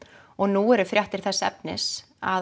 og nú eru fréttir þess efnis að